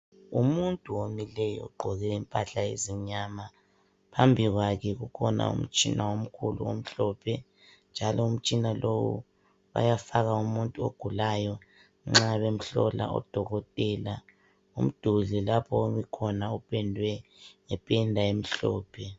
Umuntu omileyo ogqoke impahla ezimnyama phambi kwakhe kukhona umtshina omkhulu omhlophe njalo umtshina lowu bayafaka umuntu ogulayo nxa bemhlola odokotela umduli lapho omikhona upendwe ngependa emhlophe.